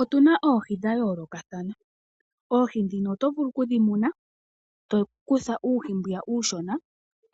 Otuna oohi dha yoolokathana, oohi ndhino oto vulu oku dhi muna. To kutha uuhi mbwiya uushona